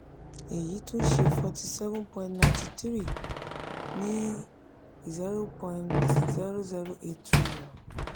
eyi tun ṣe forty seven poin ninety three ní zero point zero zero eight trillion